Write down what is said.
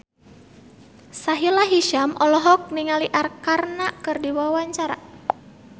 Sahila Hisyam olohok ningali Arkarna keur diwawancara